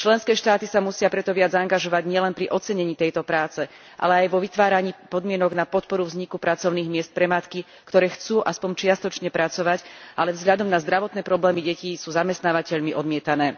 Členské štáty sa musia preto viac zaangažovať nielen pri ocenení tejto práce, ale aj vo vytváraní podmienok na podporu vzniku pracovných miest pre matky, ktoré chcú aspoň čiastočne pracovať, ale vzhľadom na zdravotné problémy detí sú zamestnávateľmi odmietané.